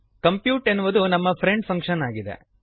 compute ಎನ್ನುವುದು ನಮ್ಮ friend function ಆಗಿದೆ